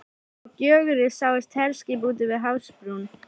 Frá Gjögri sáust herskip úti við hafsbrún